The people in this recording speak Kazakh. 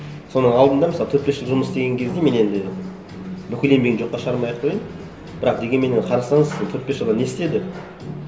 соның алдында мысалы төрт бес жыл жұмыс істеген кезде мен енді бүкіл еңбегін жоққа шығармай ақ қояйын бірақ дегенменен қарасаңыз төрт бес жылда не істеді